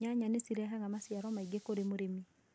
Nyanya nĩ cirehaga maciaro maingĩ kũrĩ mũrĩmi